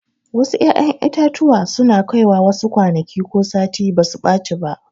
Wasu 'ya'yan itatuwa suna Kai wasu kwanaki ko sati basu ɓaci ba.